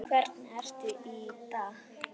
Hvernig ertu í dag?